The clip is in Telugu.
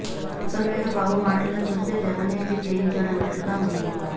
మొత్తం మీద బాబు మాటలను చూస్తే జగనే ఇది చేయించాడన్నట్లుగా ఉంది